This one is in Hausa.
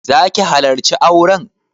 Za ki halarci auren?